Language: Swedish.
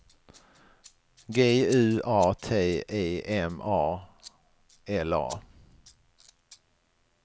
G U A T E M A L A